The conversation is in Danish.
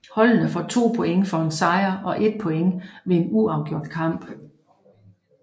Holdene får 2 point for en sejr og 1 point ved en uafgjort kamp